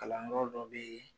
Kalanyɔrɔ dɔ bɛ yen.